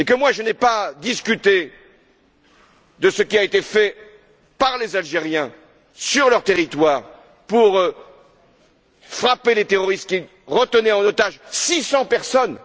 Je n'ai pas discuté de ce qui a été fait par les Algériens, sur leur territoire, pour frapper les terroristes qui retenaient en otages 600 personnes.